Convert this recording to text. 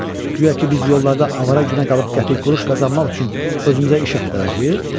Guya ki, biz yollarda avara günə qalıb kəpik quruş qazanmaq üçün özümüzə iş axtaracağıq?